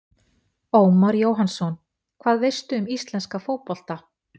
Ómar Jóhannsson Hvað veistu um íslenska fótbolta?